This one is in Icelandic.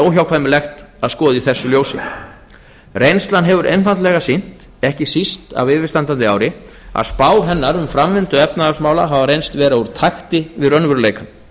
óhjákvæmilegt að skoða í þessu ljósi reynslan hefur einfaldlega sýnt ekki síst af yfirstandandi ári að spár hennar um framvindu efnahagsmála hafa reynst vera úr takti við raunveruleikann